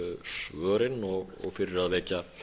svörin og fyrir að vekja